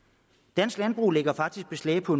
dansk landbrug lægger faktisk beslag på